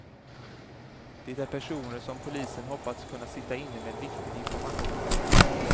Det är personer som polisen hoppats kunna sitta inne med viktig information.